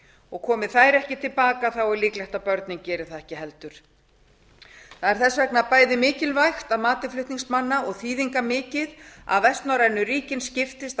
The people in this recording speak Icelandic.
og ef mæðurnar koma ekki til baka er líklegt að börnin geri það ekki heldur það er þess vegna bæði mikilvægt og þýðingarmikið að vestnorrænu ríkin skiptist